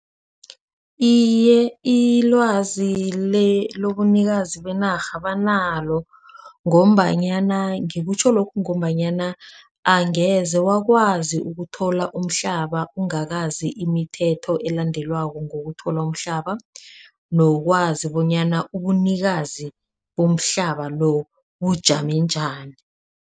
Iye ilwazi lobunikazi benarha banalo ngombanyana ngikutjho lokhu ngombanyana angeze wakwazi ukuthi uthola umhlaba ungakwazi imithetho elandelwako ngokuthola umhlaba. Nokwazi bonyana ubunikazi komhlaba lobu bujame njani.